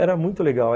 Era muito legal.